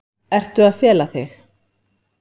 Ertu að fela þig?